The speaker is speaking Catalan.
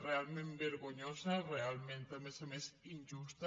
realment vergonyosa realment a més a més injusta